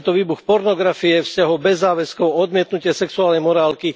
A je to výbuch pornografie, vzťahov bez záväzkov, odmietnutie sexuálnej morálky.